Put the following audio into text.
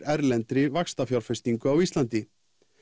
erlendri á Íslandi